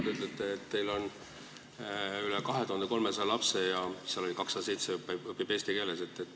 Te ütlesite, et teil on üle 2300 lapse ja 207 neist õpib eesti keeles.